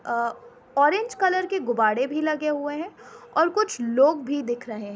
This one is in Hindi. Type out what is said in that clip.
अ ओरेंज कलर के गुब्बाड़े भी लगे हुए हैं और कुछ लोग भी दिख रहे --